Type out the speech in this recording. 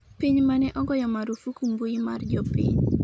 piny mane ogoyo marufuku mbui mar jopiny